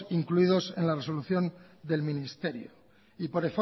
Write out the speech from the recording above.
incluidas en la resolución del ministerio y por